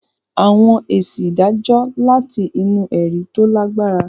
Àwọn èsì ìdájọ́ láti inú ẹ̀rí tó lágbára.